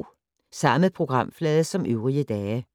Samme programflade som øvrige dage